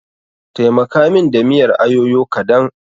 Taimaka min da miyar ayoyo kadan.